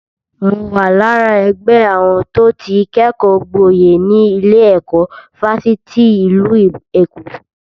Mo wà lára ẹgbẹ́ àwọn tó ti kẹ́kọ̀ọ́ gboyè ní ilé-ẹ̀kọ́ Fásitì ìlú Èkó.